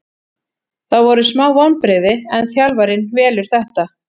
Það voru smá vonbrigði en þjálfarinn velur þetta.